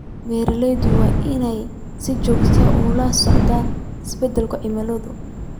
Beeralayda waa inay si joogto ah ula socdaan isbeddelada cimilada.